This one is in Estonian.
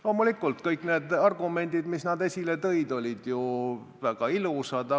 Loomulikult, kõik need argumendid, mis nad esile tõid, olid väga ilusad.